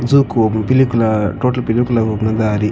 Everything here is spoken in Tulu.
ಜೋಕೋಮ್ ಪಿಲಿಕುಲ ಟೋಟಲ್ ಪಿಲಿಕುಲ ಪೋಪುನ ದಾರಿ.